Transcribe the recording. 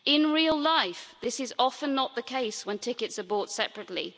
In real life, this is often not the case when tickets are bought separately.